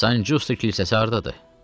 San Giusto kilsəsi hardadır?